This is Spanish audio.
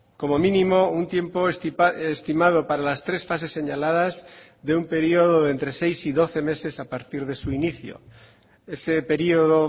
como mínimo un tiempo estimado para las tres fases señaladas de un periodo de entre seis y doce meses a partir de su inicio ese periodo